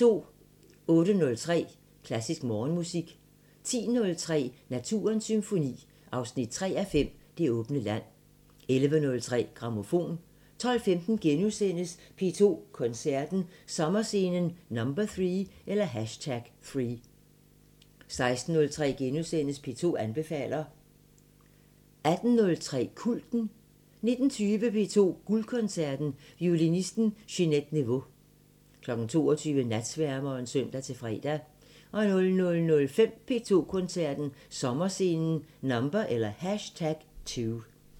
08:03: Klassisk Morgenmusik 10:03: Naturens Symfoni 3:5 – Det åbne land 11:03: Grammofon 12:15: P2 Koncerten – Sommerscenen #3 * 16:03: P2 anbefaler * 18:03: Kulten 19:20: P2 Guldkoncerten: Violinisten Ginette Neveu 22:00: Natsværmeren (søn-fre) 00:05: P2 Koncerten – Sommerscenen #2